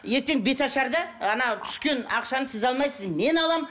ертең беташарда түскен ақшаны сіз алмайсыз мен аламын